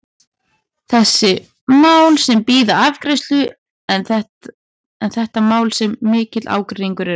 Þessi mál sem bíða afgreiðslu, eru þetta mál sem mikill ágreiningur er um?